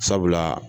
Sabula